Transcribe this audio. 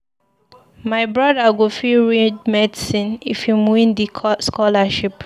My broda go fit read medicine if im win di scholarship.